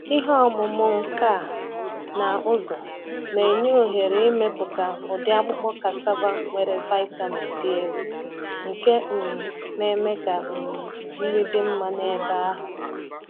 ihe ọmụmụ nka na ụzụ na-enye ohere ịmepụta ụdị akpụkpọ cassava nwere vitamin dị elu, nke um na-eme ka um nri dị mma n’ebe ahụ.